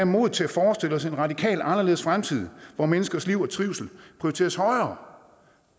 modet til at forestille os en radikalt anderledes fremtid hvor menneskers liv og trivsel prioriteres højere